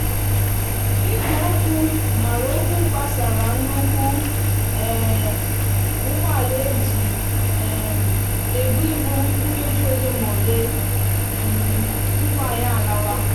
igwe okwu maraòkwa gbasara nnukwu um úgbòala eji um ebu ibu nkeji ole m'ole um tupu anyi lawa.